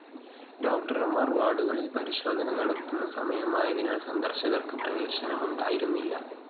ഡോക്ടര്‍മാര്‍ വാര്‍ഡുകളില്‍ പരിശോധന നടത്തുന്ന സമയമായതിനാല്‍ സന്ദര്‍ശകര്‍ക്ക് പ്രവേശനമുണ്ടായിരുന്നില്ല